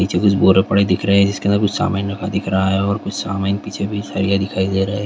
पीछे की तरफ कुछ बोरी बड़ी दिख रही हैं अंदर कुछ सामान बड़ा दिख रहा है और उस सामान के पीछे कुछ साड़ियां भी नजर आ रही हैं।